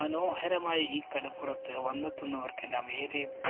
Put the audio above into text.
മനോഹരമായ ഈ കടപ്പുറത്ത് വന്നെത്തുന്നവര്‍ക്കെല്ലാം ഏറെ